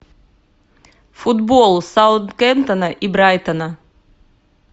футбол саутгемптона и брайтона